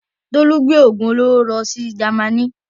Tolú gbé òògùn olóró lọ sí Jamaní.